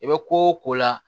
I bɛ ko o ko la